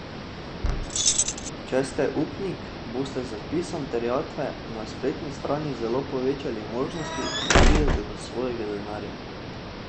Če ste upnik, boste z vpisom terjatve na spletni strani zelo povečali možnosti, da pridete do svojega denarja.